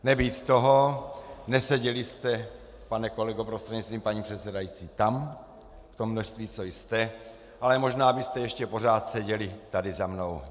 Nebýt toho, neseděli jste, pane kolego prostřednictvím paní předsedající, tam v tom množství, co jste, ale možná byste ještě pořád seděli tady za mnou.